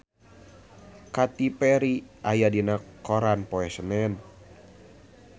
Katy Perry aya dina koran poe Senen